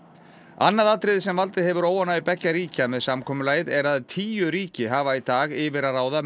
annað atriði sem valdið hefur óánægju beggja ríkja með samkomulagið er að tíu ríki hafa í dag yfir að ráða